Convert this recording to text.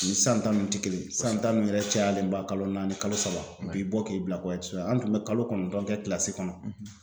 O ni san ta ninnu tɛ kelen ye san tan ninnu yɛrɛ cayalenba kalo naani kalo saba a b'i bɔ k'i bila kɔ ye an tun bɛ kalo kɔnɔntɔn kɛ kɔnɔ.